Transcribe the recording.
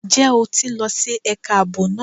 Ǹjẹ́ o ti ń lọ sí ẹ̀ka ààbò náà?